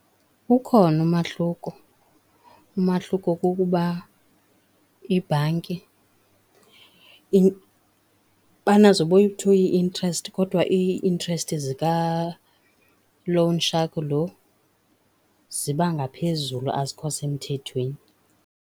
Ukhona umahluko, umahluko kukuba ibhanki, banazo boyi-two ii-interest, kodwa ii-interest zika loan shark lo ziba ngaphezulu, azikho semthethweni.